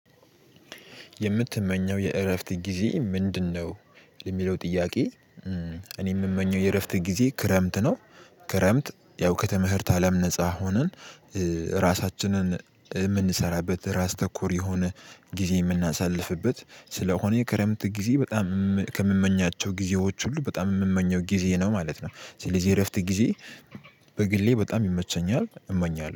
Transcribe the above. የምትመኘው የእረፍት ጊዜ ምንድነው የሚለው ጥያቄ? እኔ የምመኘው የእረፍት ጊዜ ክረምት ነው። ክረምት ያው ከተመህርት አለም ነፃ ሆነን። ራሳችንን የምንሰራበት ራስ ተኮር የሆነ ጊዜ የምናሳልፍበት ስለሆነ የክረምት ጊዜ በጣም ከምመኛቸው ጊዜዎች ሁሉ በጣም የምመኘው ጊዜ ነው ማለት ነው። ስለዚህ የእረፍት ጊዜ። በግሌ በጣም ይመቸኛል እመኛለሁ